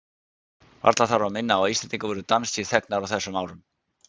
Varla þarf að minna á að Íslendingar voru danskir þegnar á þessum árum.